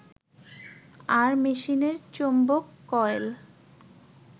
আর মেশিনের চৌম্বক কয়েল